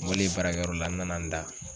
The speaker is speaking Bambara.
N bolen baarakɛyɔrɔ la n nana n da